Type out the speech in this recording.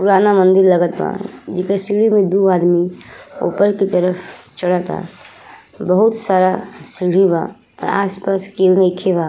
पुराना मंदिर लगाता बा। जेकर सीढी में दो आदमी ऊपर की तरफ चढ़ता बहुत सारा सीढ़ी बा। आसपास केहू नइखे बा।